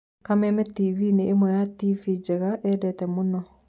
Kameme tv nĩ ĩmwe ya tv Njenga endete mũno